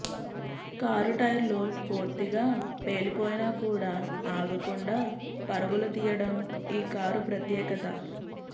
car టైర్లు పూర్తిగా పేలిపోయినా కూడా ఆగకుండా పరుగులు తీయడం ఈ కారు ప్రత్యేకత